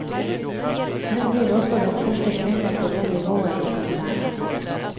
Hun blir også den første kvinne på det nivået i konsernet.